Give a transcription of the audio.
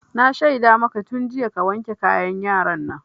Na shaida maka tun jiya ka wanke kayan yaran nan!